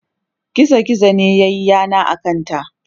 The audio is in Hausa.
gizo gizo ne yayi yana a kanta